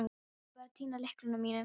Og ég var að týna lyklunum mínum.